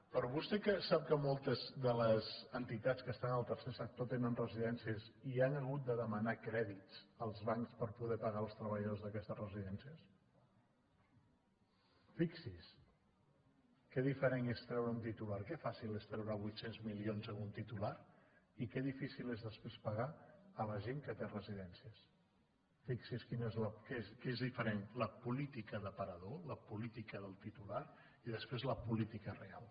però vostè sap que moltes de les entitats que estan en el tercer sector tenen residències i han hagut de demanar crèdits als bancs per poder pagar els treballadors d’aquestes residències fixi’s que diferent és treure un titular que fàcil és treure vuit cents milions en un titular i que difícil és després pagar la gent que té residències fixi’s que és diferent la política d’aparador la política del titular i després la política real